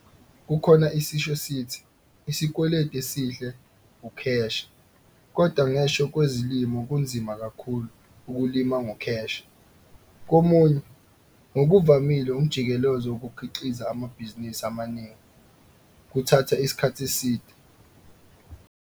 Kukhona isisho esithi - 'isikweleti esihle ukheshe' - kodwa ngeshwa kwezolimo kunzima kakhulu ukulima ngokheshe. Komunye, ngokuvamile umjikelezo wokukhiqiza amabhizinisi amaningi kuthatha isikhathi eside.